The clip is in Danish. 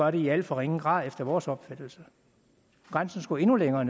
i alt for ringe grad efter vores opfattelse grænsen skulle endnu længere